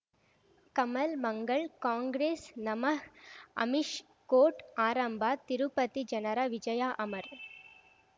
ಕಮಲ್ ಮಂಗಳ್ ಕಾಂಗ್ರೆಸ್ ನಮಃ ಅಮಿಷ್ ಕೋರ್ಟ್ ಆರಂಭ ತಿರುಪತಿ ಜನರ ವಿಜಯ ಅಮರ್